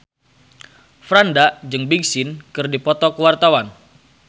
Franda jeung Big Sean keur dipoto ku wartawan